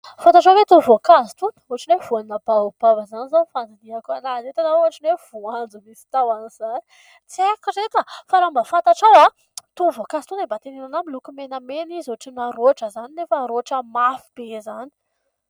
Fantatrao hoe itony voankazy itony ohatrany hoe : voanina baobab izany izao ny fandiniako anazy eto na ohatrin'ny voanjo misy tahon'izany, tsy haiko ireto fa raha mba fantatrao itony voankazo itony dia mba teneno ahy miloko menamena izy ohatry na roatra izany nefa roatra mafy be izany.